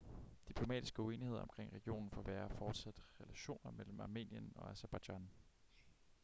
diplomatiske uenigheder omkring regionen forværrer fortsat relationerne mellem armenien og aserbajdsjan